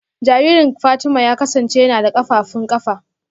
Jaririn Fatima ya kasance yana da kafafun kafa